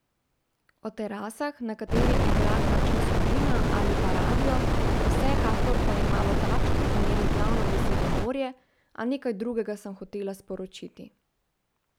O terasah, na katerih igra kakšna skupina ali pa radio, vsekakor pa ima v takšnih primerih glavno besedo morje, a nekaj drugega sem hotela sporočiti.